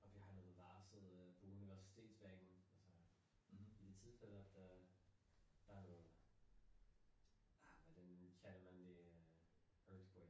Og vi har noget varsel øh på universitetsbanen altså i det tilfælde at øh der nogle ah hvad vi man kalder man det earthquake